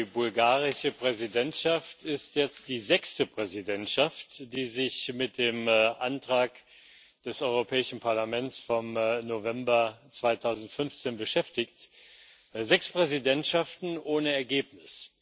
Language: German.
Die bulgarische Präsidentschaft ist jetzt die sechste Präsidentschaft, die sich mit dem Antrag des Europäischen Parlaments vom November 2015 beschäftigt sechs Präsidentschaften ohne Ergebnis.